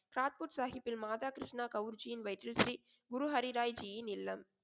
சாத்புத் சாகிப்பின் மாதா கிருஷ்ணா கௌரிஜியின் வயிற்றில் ஸ்ரீ குரு ஹரிராய் ஜியின் இல்லம்.